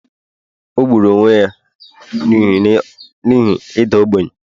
o gburu onwe ya n’ihi ịda ogbenye